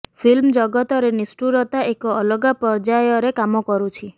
film ଜଗତରେ ନିଷ୍ଠୁରତା ଏକ ଅଲଗା ପର୍ଯ୍ୟାୟରେ କାମ କରୁଛି